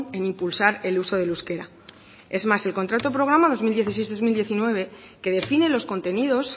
en impulsar el uso del euskera es más el contrato programa dos mil dieciséis dos mil diecinueve que define los contenidos